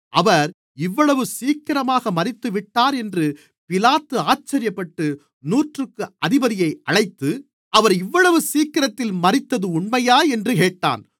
அவர் இவ்வளவு சீக்கிரமாக மரித்துவிட்டார் என்று பிலாத்து ஆச்சரியப்பட்டு நூற்றுக்கு அதிபதியை அழைத்து அவர் இவ்வளவு சீக்கிரத்தில் மரித்தது உண்மையா என்று கேட்டான்